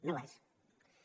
no ho és